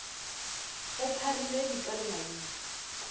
go pharile dika le maina